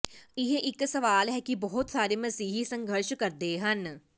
ਇਹ ਇੱਕ ਸਵਾਲ ਹੈ ਕਿ ਬਹੁਤ ਸਾਰੇ ਮਸੀਹੀ ਸੰਘਰਸ਼ ਕਰਦੇ ਹਨ